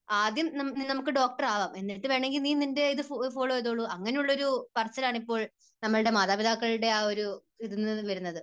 ആദ്യം നമുക്ക് ഡോക്ടറാകാം എന്നിട്ട് വേണമെങ്കിൽ നീ നിൻറെ ഇത് ഫോളോ ചെയ്തോളൂ. അങ്ങനെയുള്ള ഒരു പറച്ചിൽ ആണ് ഇപ്പോൾ നമ്മുടെ മാതാപിതാക്കളുടെ ആ ഒരു ഇതിൽ നിന്നും വരുന്നത്.